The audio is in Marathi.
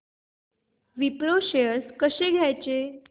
विप्रो शेअर्स कसे घ्यायचे